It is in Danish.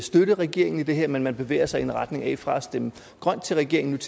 støtte regeringen i det her men at man bevæger sig i en retning af at gå fra at stemme grønt til regeringens